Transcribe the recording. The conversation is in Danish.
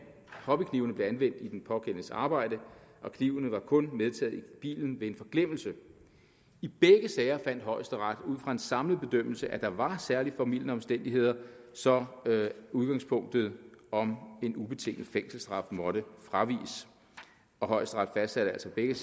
hobbyknivene blev anvendt i den pågældendes arbejde og knivene var kun medtaget i bilen ved en forglemmelse i begge sager fandt højesteret ud fra en samlet bedømmelse at der var særlig formildende omstændigheder så udgangspunktet om en ubetinget fængselsstraf måtte fraviges højesteret fastsatte altså i begge